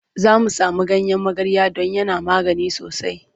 Za mu samo ganyen magarya don yana magani sosai.